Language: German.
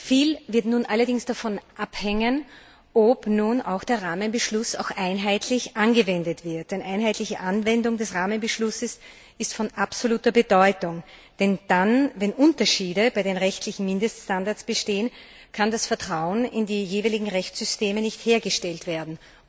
Viel wird nun allerdings davon abhängen, ob nun auch der Rahmenbeschluss einheitlich angewendet wird, denn die einheitliche Anwendung des Rahmenbeschlusses ist von absoluter Bedeutung. Denn wenn Unterschiede bei den rechtlichen Mindeststandards bestehen, kann das Vertrauen in die jeweiligen Rechtssysteme nicht hergestellt werden.